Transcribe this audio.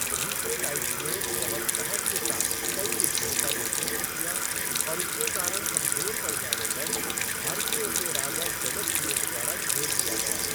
Eucratides ने बहुत साहस के साथ कई युद्धों का नेतृत्व किया, और उनके कारण कमजोर पड़ जाने पर, भारतीयों के राजा डेमेट्रियस द्वारा घेर लिया गया।